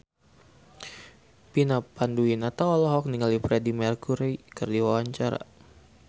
Vina Panduwinata olohok ningali Freedie Mercury keur diwawancara